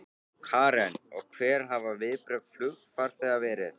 Karen: Og hver hafa viðbrögð flugfarþega verið?